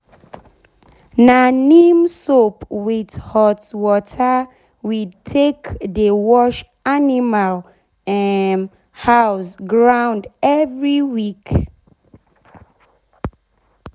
na neem soap with hot water we take dey wash animal um house ground every week.